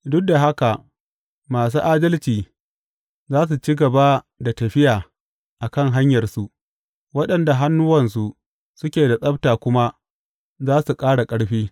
Duk da haka, masu adalci za su ci gaba da tafiya a kan hanyarsu, waɗanda hannuwansu suke da tsabta kuma za su ƙara ƙarfi.